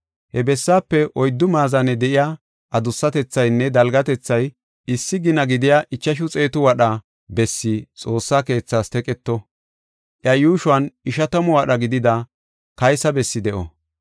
He bessaafe oyddu maazane de7iya adussatethaynne dalgatethay issi gina gidiya ichashu xeetu wadha, bessi Xoossa keethaas teqeto; iya yuushon ishatamu wadha gidida kaysa bessi de7o.